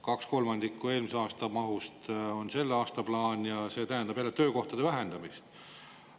Kaks kolmandikku eelmise aasta mahust on selle aasta plaan ja see tähendab jälle töökohtade vähendamist.